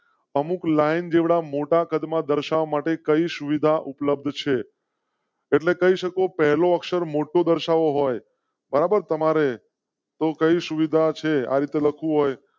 અમુક લાઇન જેવડા મોટા કદ મા દર્શાવા માટે કઈ સુવિધા ઉપલબ્ધ છે? એટલે કહી શકો. પહેલો અક્ષર મોટો દર્શાવો હોય બરાબર તમારે તો કઈ સુવિધા છે. આ રીતે લખવું હોય